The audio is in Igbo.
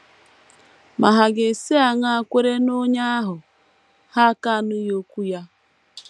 ma hà ga - esi aṅaa kwere n’Onye ahụ ha aka - anụghị okwu Ya?